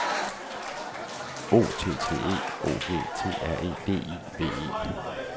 O T T E O G T R E D I V E